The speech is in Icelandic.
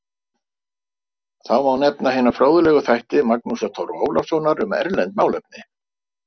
Þá má nefna hina fróðlegu þætti Magnúsar Torfa Ólafssonar um erlend málefni